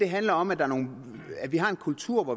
handler om at at vi har en kultur